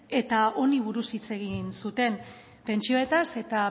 eta honi buruz hitz egin zuten pentsioetaz eta